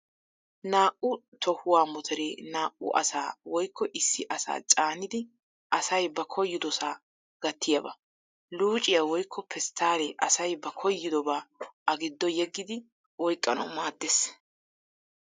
Naa"u tohuwaawa motoree naa" u asaa woykko issi asaa caanidi asay ba koyyidosaa gattiyaaba. Luucciyaa woykko pesttaallee asay ba koyyidobaa a giddo yeggidi oyqqanawu maaddees.